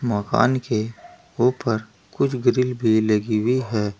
मकान के ऊपर कुछ ग्रिल भी लगी हुई है।